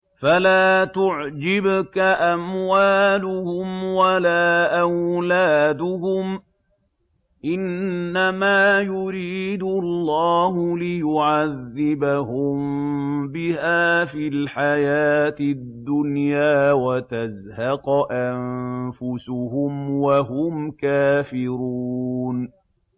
فَلَا تُعْجِبْكَ أَمْوَالُهُمْ وَلَا أَوْلَادُهُمْ ۚ إِنَّمَا يُرِيدُ اللَّهُ لِيُعَذِّبَهُم بِهَا فِي الْحَيَاةِ الدُّنْيَا وَتَزْهَقَ أَنفُسُهُمْ وَهُمْ كَافِرُونَ